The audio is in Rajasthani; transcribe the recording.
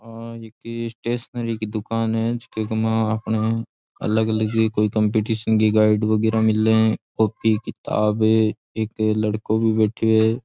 आ एक स्टेशनरी की दुकान है जीके मा आपने अलग अलग ये कोई कंपटीशन की गाईड वगैरा मिले है कॉपी किताब एक लड़को भी बैठ्यो है।